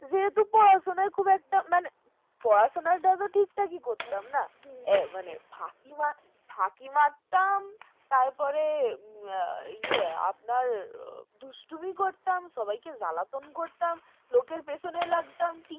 class আমরা ঠিক থাকি করতাম, না ফাঁকি মারতাম তারপর আপনার ইয়ে দুষ্টুমি করতাম সবাইকে জ্বালাতন করতাম লোকের পেছনে লাগতাম